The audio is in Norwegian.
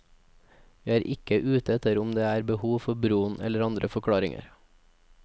Vi er ikke ute etter om det er behov for broen eller andre forklaringer.